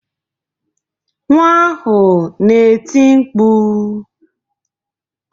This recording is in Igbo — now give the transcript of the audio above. Nwa ahụ na-eti mkpu.